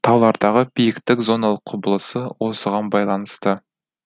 таулардағы биіктік зоналық құбылысы осыған байланысты